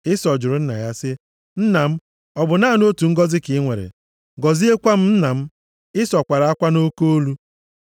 Ịsọ jụrụ nna ya sị, “Nna m, ọ bụ naanị otu ngọzị ka i nwere? Gọziekwa m nna m!” Ịsọ kwara akwa nʼoke olu.